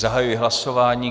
Zahajuji hlasování.